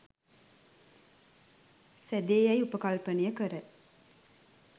සෑදේ යැයි උපකල්පනය කර